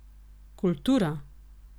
Kultura?